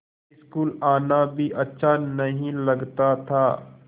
school आना भी अच्छा नहीं लगता था